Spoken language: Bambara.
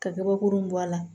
Ka kabakurun bɔ a la